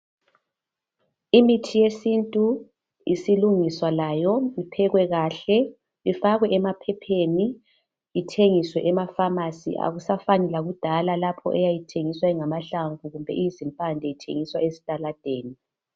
imithi yesintu isilungiswa layo iphekwe kahle ifakwe emaphepheni ithengiswe ema phamarcy akusafani lakudala lapho eyayithengiswa ingamahlamvu kumbe izimpande ithengiswa ezitaladeni